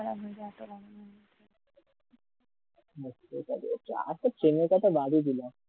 metro তো রয়েছে আর তোর ট্রেনের কথা বাদই দিলাম,